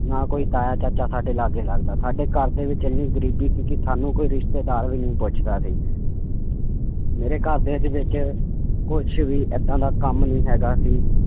ਨਾ ਕੋਈ ਤਾਇਆ ਚਾਚਾ ਸਾਡੇ ਲਾਗੇ ਲੱਗਦਾ, ਸਾਡੇ ਘਰਦੇ ਵਿੱਚ ਇੰਨੀ ਗ਼ਰੀਬੀ ਸੀ ਕਿ ਸਾਨੂੰ ਕੋਈ ਰਿਸ਼ਤੇਦਾਰ ਵੀ ਨੀ ਪੁੱਛਦਾ ਸੀ ਮੇਰੇ ਘਰਦਿਆਂ ਦੇ ਵਿੱਚ ਕੁਛ ਵੀ ਏਦਾਂ ਦਾ ਕੰਮ ਨਹੀਂ ਹੈਗਾ ਕਿ